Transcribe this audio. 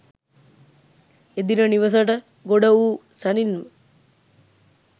එදින නිවෙසට ගොඩ වූ සැණින්ම